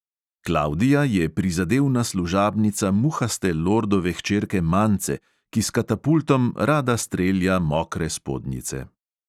Klavdija je prizadevna služabnica muhaste lordove hčerke mance, ki s katapultom rada strelja mokre spodnjice.